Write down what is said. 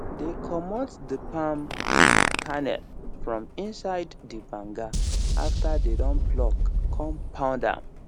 dey comot the palm um kernel from inside the banga after dey don pluck con pound am